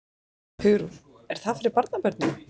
Hugrún: Er það fyrir barnabörnin?